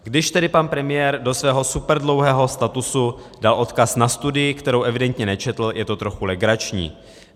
Když tedy pan premiér do svého superdlouhého statusu dal odkaz na studii, kterou evidentně nečetl, je to trochu legrační.